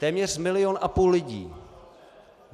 Téměř milion a půl lidí.